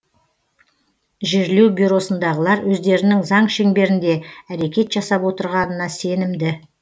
жерлеу бюросындағылар өздерінің заң шеңберінде әрекет жасап отырғанына сенімді